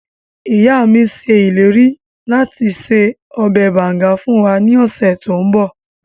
Ìya mi se ileri lati se ọbẹ banga fun wa ni ọsẹ to nbọ